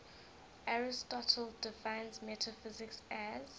aristotle defines metaphysics as